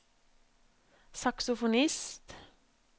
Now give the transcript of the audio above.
saksofonist